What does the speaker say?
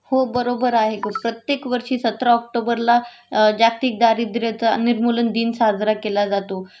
हो बरोबर आहे ग प्रत्येक वर्षी सतरा ऑक्टोबरला जागतिक दारिद्र्य चा निर्मूलन दिन साजरा केला जातो